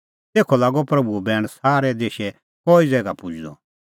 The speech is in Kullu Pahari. तेखअ लागअ प्रभूओ बैण सारै देशै कई ज़ैगा पुजदअ